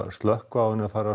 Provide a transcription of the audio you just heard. slökkva áður en farið